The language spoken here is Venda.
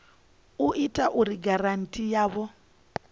ita uri giranthi yavho i